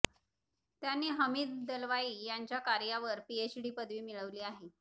त्यांनी हमीद दलवाई यांच्या कार्यावर पीएचडी पदवी मिळवली आहे